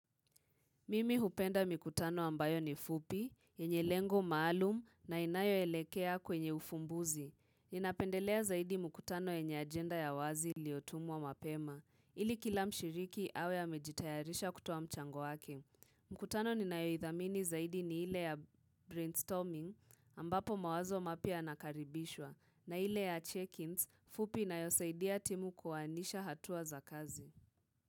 Mimi hupenda mikutano ambayo ni fupi, yenye lengo maalum na inayoelekea kwenye ufumbuzi. Ninapendelea zaidi mkutano yenye agenda ya wazi iliotumwa mapema. Ili kila mshiriki awe amejitayarisha kutoa mchango wake. Mkutano ninayoidhamini zaidi ni ile ya brainstorming ambapo mawazo mapya yanakaribishwa. Na ile ya check-ins, fupi inayosaidia timu kuoanisha hatua za kazi.